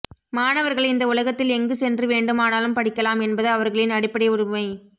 மாணவர்கள் இந்த உலகத்தில் எங்கு சென்று வேண்டுமானாலும் படிக்கலாம் என்பது அவர்களின் அடிப்படை உரிமை